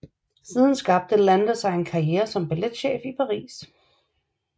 Siden skabte Lander sig en karrière som balletchef i Paris